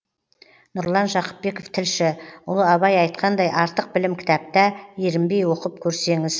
нұрлан жақыпбеков тілші ұлы абай айтқандай артық білім кітапта ерінбей оқып көрсеңіз